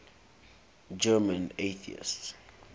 german atheists